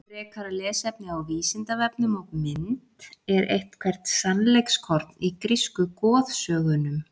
Frekara lesefni á Vísindavefnum og mynd Er eitthvert sannleikskorn í grísku goðsögunum?